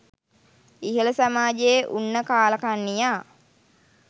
ඉහල සමාජයේ උන්න කාළකන්නියා